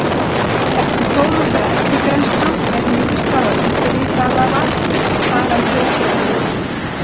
Eftir þó nokkra eftirgrennslan er niðurstaða undirritaðrar að sagan hljóti að vera uppspuni.